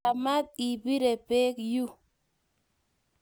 Machamat ibiree beek yuu